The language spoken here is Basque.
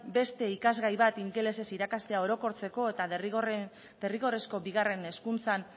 beste ikasgai bat ingelesez irakastea orokortzeko eta derrigorrezko bigarren hezkuntzan